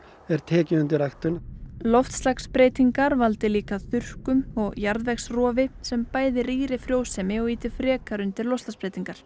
er tekið undir ræktun loftslagsbreytingar valdi líka þurrkum og jarðvegsrofi sem bæði rýra frjósemi og ýta frekar undir loftslagsbreytingar